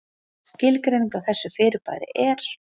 Skilgreining á þessu fyrirbæri er: